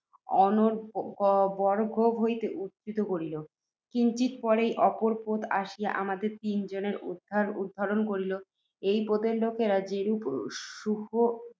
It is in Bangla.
অর্ণবগর্ভ হইতে উদ্ধৃত করিল। কিঞ্চিৎ পরেই, অপর পোত আসিয়া আমাদের তিন জনের উদ্ধরণ করিল। এই পোতের লোকেরা যেরূপ সুহৃদ্ভাবে